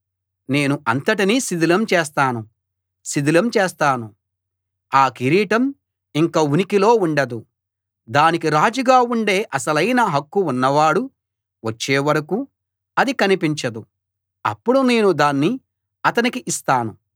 నేను అంతటినీ శిథిలం చేస్తాను శిథిలం చేస్తాను ఆ కిరీటం ఇంక ఉనికిలో ఉండదు దానికి రాజుగా ఉండే అసలైన హక్కు ఉన్నవాడు వచ్చే వరకూ అది కనిపించదు అప్పుడు నేను దాన్ని అతనికి ఇస్తాను